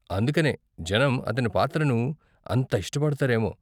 అందుకనే జనం అతని పాత్రను అంత ఇష్టపడతారేమో.